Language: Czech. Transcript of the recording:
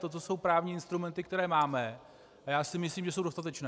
Toto jsou právní instrumenty, které máme, a já si myslím, že jsou dostatečné.